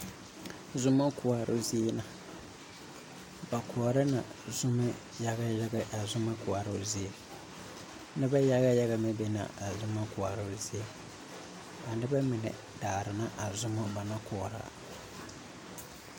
Zomo koɔroo zie la na koɔrɔ na zoma yaga yagɛ a zomz koɔroo zie Nona yaga yaga meŋ be la a zoma koɔroo zie a noba mine daara la a zoma ba naŋ koɔrɔ